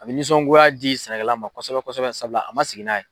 A bɛ nisɔngoya di sɛnɛkɛla ma kosɛbɛ kosɛbɛ sabula a ma sigi n'a ye.